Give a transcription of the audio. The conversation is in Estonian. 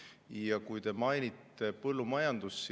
Ja te mainisite põllumajandust.